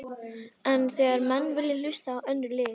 En þegar menn vilja hlusta á önnur lið?